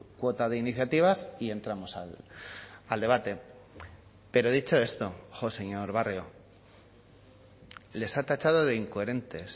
cuota de iniciativas y entramos al debate pero dicho esto señor barrio les ha tachado de incoherentes